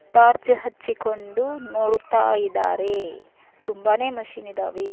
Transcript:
Torch ಹಚ್ಚಿಕೊಂಡು ನೋಡುತ್ತಾ ಇದ್ದಾರೆ ತುಂಬಾನೆ ಮಷೀನ್ ಇದಾವೆ.